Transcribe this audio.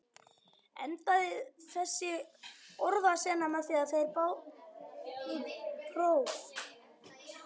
Endaði þessi orðasenna með því, að þeir báðu próf.